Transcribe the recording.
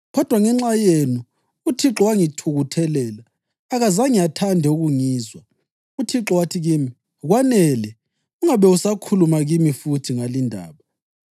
Kodwa ngenxa yenu uThixo wangithukuthelela akazange athande ukungizwa. UThixo wathi kimi, ‘Kwanele, ungabe usakhuluma kimi futhi ngalindaba.